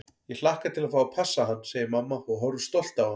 Ég hlakka til að fá að passa hann, segir mamma og horfir stolt á hann.